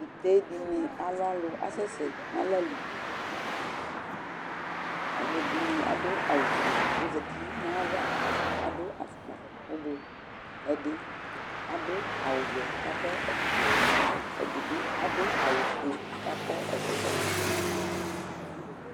ite dɩnɩ alʊ alʊ kʊ asɛ sɛ nʊ ala li, alʊɛdɩnɩ adʊ awu fue kʊ ɔzati nʊ ay'ava kʊ adʊ ɛlɛnuti avavlitsɛ, ɛdɩ adʊ awu vɛ kʊ akɔ ɛkɔtɔ fue, ɛdɩbɩ adʊ awu fue kʊ akɔ ɛkɔtɔ wɛ